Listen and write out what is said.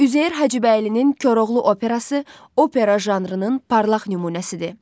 Üzeyir Hacıbəylinin Koroğlu Operası opera janrının parlaq nümunəsidir.